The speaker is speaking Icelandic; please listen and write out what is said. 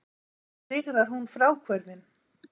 Sigrar hún fráhvörfin?